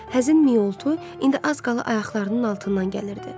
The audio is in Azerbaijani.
Həzin miyoltu indi az qala ayaqlarının altından gəlirdi.